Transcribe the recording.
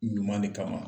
Ɲuman le kama